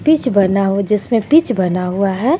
Pitch बना हो जिसमे पिच बना हुआ है.